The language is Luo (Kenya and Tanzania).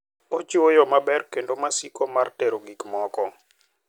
Ochiwo yo maber kendo masiko mar tero gik moko.